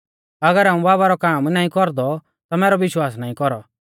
अगर हाऊं बाबा रौ काम नाईं कौरदौ ता मैरौ विश्वास नाईं कौरौ